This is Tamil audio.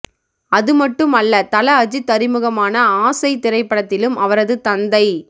அது மட்டும் அல்ல தல அஜித் அறிமுகமான ஆசை திரைப்படத்திலும் அவரது தந்தை